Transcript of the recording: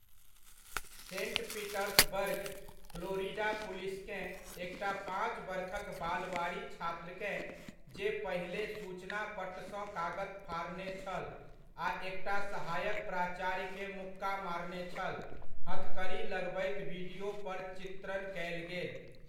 Saint Petersburg, Florida पुलिसकेँ एकटा पाँच बरखक बालवाड़ी छात्रकेँ, जे पहिने सूचना पट्टसँ कागत फाड़ने छल आ एकटा सहायक प्राचार्यकेँ मुक्का मारने छल, हथकड़ी लगबैत वीडियो पर चित्रण कयल गेल।